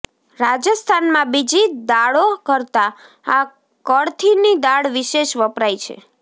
રાજસ્થાનમાં બીજી દાળો કરતા આ કળથીની દાળ વિશેષ વપરાય છે